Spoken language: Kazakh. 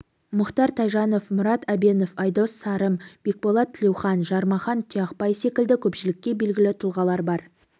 мұхтар тайжан мұрат әбенов айдос сарым бекболат тілеухан жармахан тұяқбай секілді көпшілікке белгілі тұлғалар бар